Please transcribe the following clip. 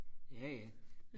jaja